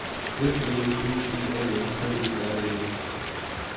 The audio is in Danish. F L O D B A N K E R N E